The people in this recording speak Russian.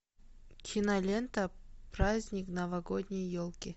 кинолента праздник новогодней елки